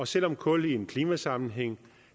selv om kul i en klimasammenhæng